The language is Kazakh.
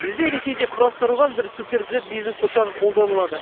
бізде ресейде құрастырылған бір суперджет бизнес ұшағы қолданылады